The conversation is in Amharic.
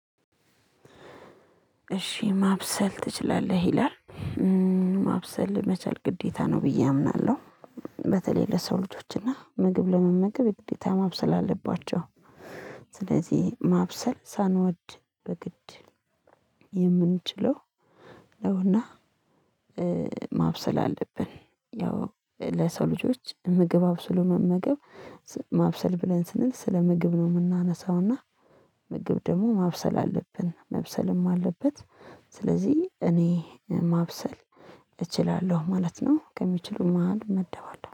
እሺ ማብሰል ትችላለህ ይላል? ማብሰል መቻል ግዴታ ነው ብዬ አምናለሁ። በተለይ ለሰው ልጆችና ምግብ ለመመገብ ግዴታ ማብሰል አለባቸው። ስለዚህ ማብሰል ሳንወድ በግድ የምንችለው ነውና። ማብሰል አለብን ያው ለሰው ልጆች ምግብ አብስሎ መመገብ። ማብሰል ብለን ስንል ስለ ምግብ ነው የምናነሳው። እና ምግብ ደግሞ ማብሰል አለብን መብሰልም አለበት። ስለዚህ እኔ ማብሰል እችላለሁ ማለት ነው ከሚችሉት መሃል እመደባለሁ